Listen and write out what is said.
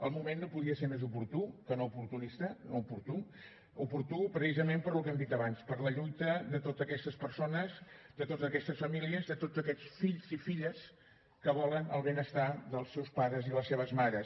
el moment no podia ser més oportú que no oportunista oportú oportú precisament pel que hem dit abans per la lluita de totes aquests persones de totes aquestes famílies de tots aquests fills i filles que volen el benestar dels seus pares i les seves mares